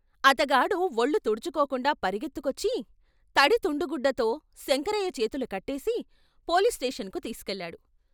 అతగాడు వొళ్ళు తుడుచు కోకుండా పరిగెత్తుకొచ్చి, తడి తుండు గుడ్డతో శంకరయ్య చేతులు కట్టేసి పోలీసు స్టేషన్‌కు తీసికెళ్ళాడు.